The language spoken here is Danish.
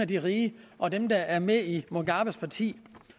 de rige og dem der er med i mugabes parti